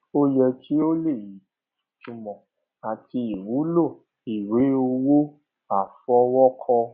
ó yẹ kí o lè ìtúmò àti ìwúlò ìwé owó àfọwókọ